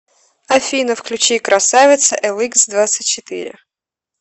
афина включи красавица эликсдвадцатьчетыре